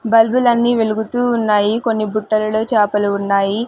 బల్బులన్నీ వెలుగుతూ ఉన్నాయి కొన్ని బుట్టలలో చాపలు ఉన్నాయి.